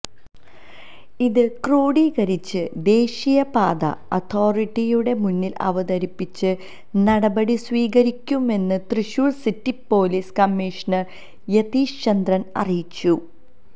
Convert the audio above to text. ഇത് ക്രോഡീകരിച്ച് ദേശീയപാത അഥോറിറ്റിയുടെ മുന്നില് അവതരിപ്പിച്ച് നടപടി സ്വീകരിക്കുമെന്ന് Thrissur city police commissioner Yathish Chandra അറിയിച്ചു